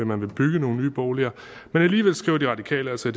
man vil bygge nogle nye boliger men alligevel skriver de radikale altså